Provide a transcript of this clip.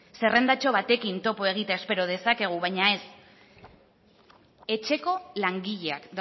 zerrendatxo batekin topo egitea espero dezakegu baina ez etxeko langileak